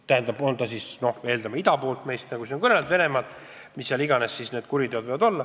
Ja mis iganes kuriteod need on võinud olla, need on toime pandud, nagu siin on kõneldud, meist ida pool, Venemaal.